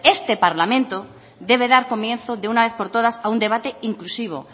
este parlamento debe dar comienzo de una vez por todas a un debate inclusivo